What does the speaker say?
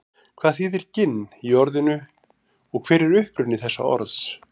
hvað þýðir ginn í orðinu og hver er uppruni þessa orðs